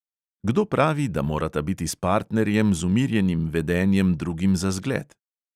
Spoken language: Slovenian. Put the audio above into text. Kdo pravi, da morata biti s partnerjem z umirjenim vedenjem drugim za zgled?